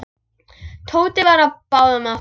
Tóti var á báðum áttum.